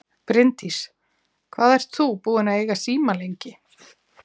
Bryndís: Hvað ert þú búinn að eiga síma lengi?